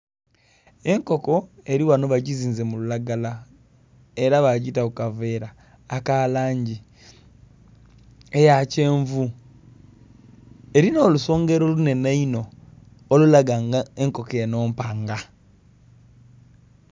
Enkoko eli ghano bagizinze mu lulagala, era bagita ku kaveera aka langi eya kyenvu. Elina olusongero lunhenhe inho olulaga nga enkoko enho mpanga.